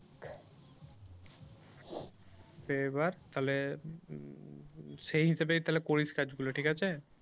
এবার তাহলে সেই হিসাবেই তাহলে করিস কাজ গুলো ঠিক আছে।